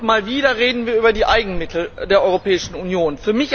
Und wieder einmal reden wir über die Eigenmittel der Europäischen Union.